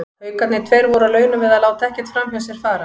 Haukarnir tveir voru á launum við að láta ekkert framhjá sér fara.